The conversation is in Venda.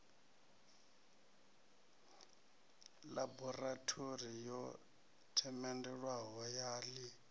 ḽaborathori yo themendelwaho ya ḽi